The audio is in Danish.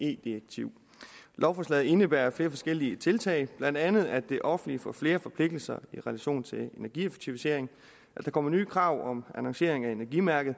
ve direktiv lovforslaget indebærer flere forskellige tiltag blandt andet at det offentlige får flere forpligtelser i relation til energieffektivisering at der kommer nye krav om annoncering af energimærket